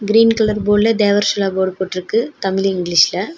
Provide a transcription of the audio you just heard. Green colour போர்டுல Devarshola board போட்ருக்கு தமிழ் இங்கிலீஷ்ல .